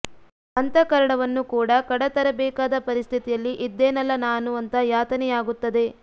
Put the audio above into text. ಅಂತಃಕರಣವನ್ನು ಕೂಡ ಕಡ ತರಬೇಕಾದ ಪರಿಸ್ಥಿತಿಯಲ್ಲಿ ಇದ್ದೆನಲ್ಲ ನಾನು ಅಂತ ಯಾತನೆಯಾಗುತ್ತದೆ